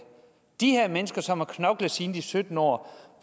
de her mennesker som har knoklet siden de var sytten år